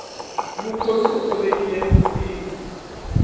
mukhomi u thovekile rinriho